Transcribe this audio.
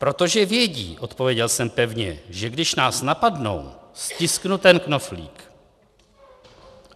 "Protože vědí," odpověděl jsem pevně, "že když nás napadnou, stisknu ten knoflík."